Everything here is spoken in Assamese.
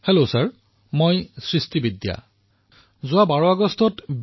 হেল্ল মহাশয় মোৰ নাম সৃষ্টি বিদ্যা আৰু মই দ্বিতীয় বাৰ্ষিকৰ এগৰাকী ছাত্ৰী